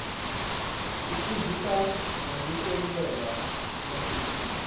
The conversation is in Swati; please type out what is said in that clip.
isifundzisa nekutentela temabhizinisi